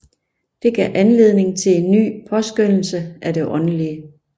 Det gav anledning til en ny påskønnelse af det åndelige